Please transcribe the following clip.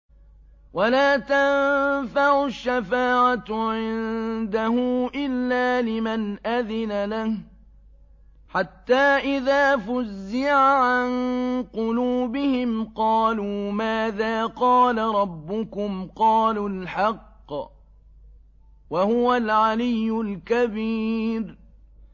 وَلَا تَنفَعُ الشَّفَاعَةُ عِندَهُ إِلَّا لِمَنْ أَذِنَ لَهُ ۚ حَتَّىٰ إِذَا فُزِّعَ عَن قُلُوبِهِمْ قَالُوا مَاذَا قَالَ رَبُّكُمْ ۖ قَالُوا الْحَقَّ ۖ وَهُوَ الْعَلِيُّ الْكَبِيرُ